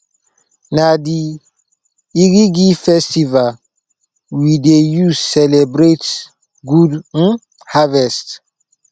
na di iriji festival we dey use celebrate good um harvest